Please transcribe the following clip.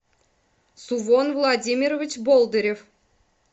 сувон владимирович бондарев